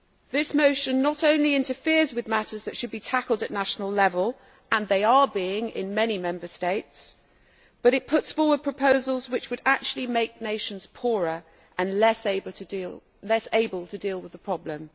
This motion not only interferes with matters that should be tackled at national level and they are being tackled in many Member States but it puts forward proposals which would actually make nations poorer and less able to deal with the problem.